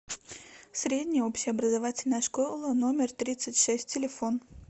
средняя общеобразовательная школа номер тридцать шесть телефон